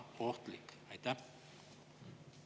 Eelnõu poolt hääletas 59 Riigikogu liiget, vastu oli 9, erapooletuid 0.